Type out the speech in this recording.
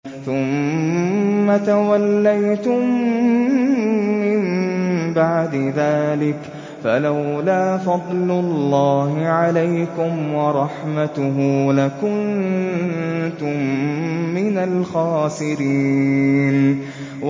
ثُمَّ تَوَلَّيْتُم مِّن بَعْدِ ذَٰلِكَ ۖ فَلَوْلَا فَضْلُ اللَّهِ عَلَيْكُمْ وَرَحْمَتُهُ لَكُنتُم مِّنَ الْخَاسِرِينَ